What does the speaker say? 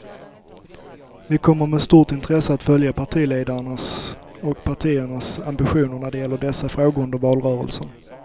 Vi kommer med stort intresse att följa partiledarnas och partiernas ambitioner när det gäller dessa frågor under valrörelsen.